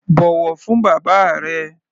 Bọ̀wọ̀ fún bàbá rẹ!